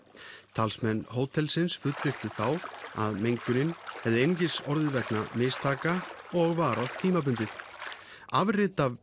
talsmenn hótelsins fullyrtu þá að mengunin hefði einungis orðið vegna mistaka og varað tímabundið afrit af